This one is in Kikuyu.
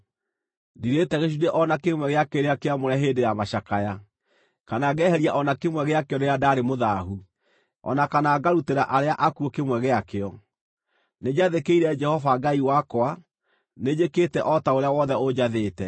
Ndirĩte gĩcunjĩ o na kĩmwe gĩa kĩrĩa kĩamũre hĩndĩ ya macakaya, kana ngeheria o na kĩmwe gĩakĩo rĩrĩa ndaarĩ mũthaahu, o na kana ngarutĩra arĩa akuũ kĩmwe gĩakĩo. Nĩnjathĩkĩire Jehova Ngai wakwa, nĩnjĩkĩte o ta ũrĩa wothe ũnjathĩte.